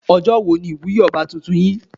Ọjọ́ wo ni ìwúyé ọba tuntun ìlú yín?